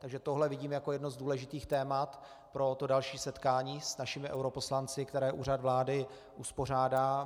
Takže tohle vidím jako jedno z důležitých témat pro to další setkání s našimi europoslanci, které Úřad vlády uspořádá.